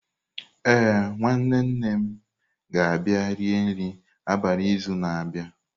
Ee, nwanne nne m ga-abịa rie nri abalị n'izu na-abịa.